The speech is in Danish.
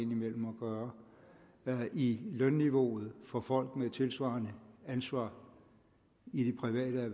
gøre i lønniveauet for folk med tilsvarende ansvar i det private